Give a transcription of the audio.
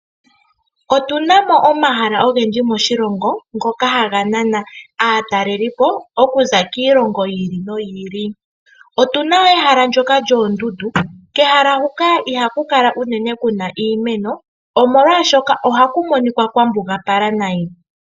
Otuna mo omahala ogendji moshilongo ngoka haga nana aatalelipo okuza kiilongo yi ili noyi ili. Otuna woo oondundu, kehala huka ihaku kala unene kuna iimeno, omolwaashoka ohaku monika kwa mbugapala nai.